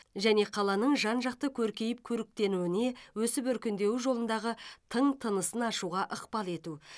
және қаланың жан жақты көркейіп көріктенуіне өсіп өркендеуі жолындағы тың тынысын ашуға ықпал ету